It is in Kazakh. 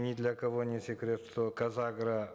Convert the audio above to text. ни для кого не секрет что казагро